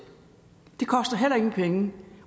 det koster heller ingen penge